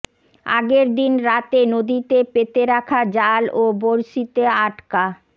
আগের দিন রাতে নদীতে পেতে রাখা জাল ও বরশিতে আটকা